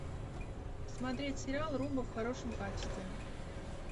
смотреть сериал румба в хорошем качестве